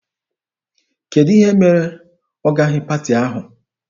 Kedụ ihe mere ọ gaghị paati ahụ?